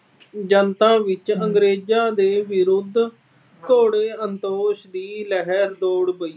ਜਨਤਾ ਵਿੱਚ ਅੰਗਰੇਜਾਂਂ ਦੇ ਵਿਰੁੱਧ ਦੀ ਲਹਿਰ ਦੌੜ ਗਈ।